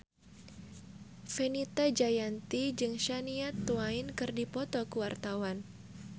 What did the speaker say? Fenita Jayanti jeung Shania Twain keur dipoto ku wartawan